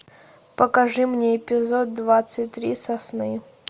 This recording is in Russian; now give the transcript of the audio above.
покажи мне эпизод двадцать три сосны